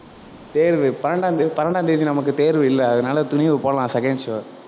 தேர்வு பன்னெண்டாம் தேதி பன்னெண்டாம் தேதி நமக்கு தேர்வு இல்ல அதனால துணிவு போலாம் second show